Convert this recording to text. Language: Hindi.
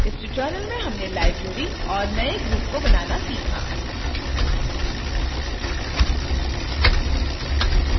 इस tutorial में हमने लाईब्रेरी और नए ग्रुप को बनाना सीखा